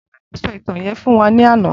Bolanle sò itàn yèn fún wà làná